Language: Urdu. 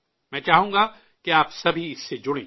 میں چاہوں گا کہ آپ سبھی اس سے جڑیں